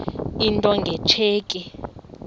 into nge tsheki